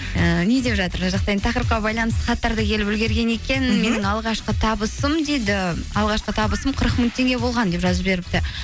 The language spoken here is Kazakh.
ііі не деп жатыр мына жақта енді тақырыпқа байланысты хаттар да келіп үлгерген екен мхм менің алғашқы табысым дейді алқашқы табысым қырық мың теңге болған деп жазып жіберіпті